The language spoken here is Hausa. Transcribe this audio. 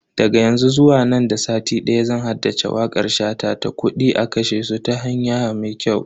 Daga yanzu zuwa nan da sati daya zan haddace wakar shata ta "Kudi a kashe su ta hanya mai kyau"